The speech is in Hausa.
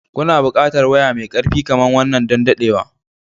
Kuna buƙatar waya mai ƙarfi kamar wannan don dadewa.